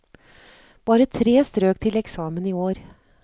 Bare tre strøk til eksamen i år.